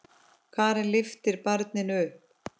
Karen lyftir barninu upp.